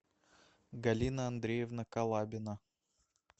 галина андреевна колабина